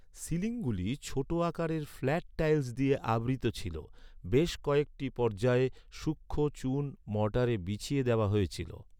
সিলিংগুলি ছোট আকারের flat tiles দিয়ে আবৃত ছিল, বেশ কয়েকটি পর্যায়ে, সূক্ষ্ম চুন মর্টারে বিছিয়ে দেওয়া হয়েছিল।